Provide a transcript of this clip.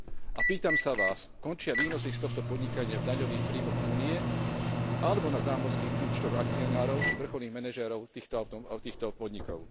A pýtam sa vás, končia výnosy z tohto podnikania v daňových príjmoch Únie, alebo na zámorských účtoch akcionárov, či vrcholných manažérov týchto podnikov?